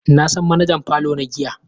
Na san manajan parlour na giya.